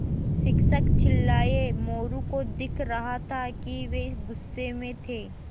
शिक्षक चिल्लाये मोरू को दिख रहा था कि वे गुस्से में थे